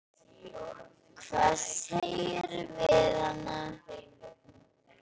Hvað sagðirðu við hana?